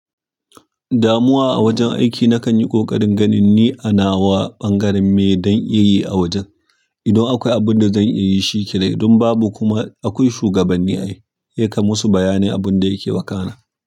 Damuwa a wajen aiki nakan yi ƙoƙarin ganin ni a nawa ɓangaren me dan iya yi a wajen. Idan akwai abin da zan iya yi shi kenan, idan babu kuma akwai shugabanni ai, ya kammusu bayanin abun da yake wakana.